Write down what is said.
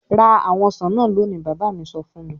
"Ra àwọn ọsàn náà lónìí!" Bàbá mi sọ fún mi.